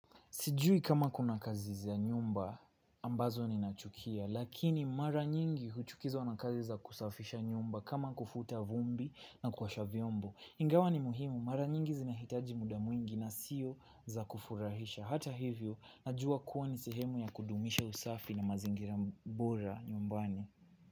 Sijui kama kuna kazi za nyumba ambazo ninachukia, lakini mara nyingi huchukizwa na kazi za kusafisha nyumba kama kufuta vumbi na kuosha vyombo. Ingawa ni muhimu, mara nyingi zinahitaji muda mwingi na siyo za kufurahisha. Hata hivyo, najua kuwa ni sehemu ya kudumisha usafi na mazingira bora nyumbani.